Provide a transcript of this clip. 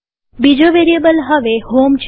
બીજો વેરીએબલ હવે હોમ છે